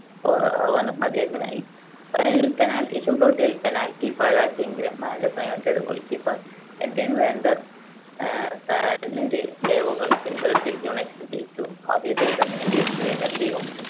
scorer ആവാനും അദ്ദേഹത്തിനായി. Final ലിൽ penalty shootout ൽ penalty പാഴാക്കിയെങ്കിലും Manchester United goalkeeper Edwin van der ah save കൾ പിൻബലത്തിൽ united ജയിച്ചു. ആ season ൽ തന്നെ ഇംഗ്ലീഷ് premiere league ഉം